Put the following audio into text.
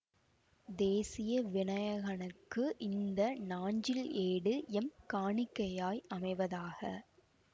தேசிய வினயகனுக்கு இந்த நாஞ்சில் ஏடு எம் காணிக்கையாய் அமைவதாக